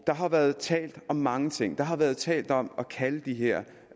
har været talt om mange ting der har været talt om at kalde de her